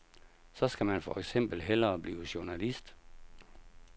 Så skal man for eksempel hellere blive journalist.